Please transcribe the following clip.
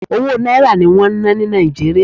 Owó Náírà ní wọ́n ń ná ní Nàìjíríà.